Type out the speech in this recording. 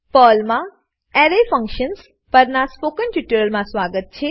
પર્લમા array functions પરનાં spoken ટ્યુટોરીયલમાં સ્વાગત છે